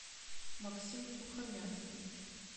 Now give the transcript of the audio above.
максим сухомяткин